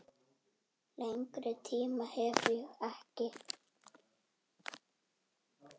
Lengri tíma hef ég ekki.